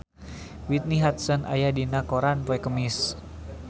Whitney Houston aya dina koran poe Kemis